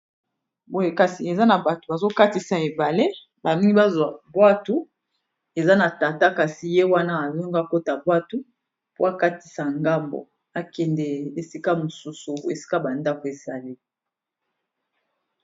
Boye kasi eza na bato bazo katisa ebale ba lingi bazwa bwatu, eza na tata kasi ye wana alingi akota bwatu po akatisa ngambo akende esika mosusu esika ba ndako ezali.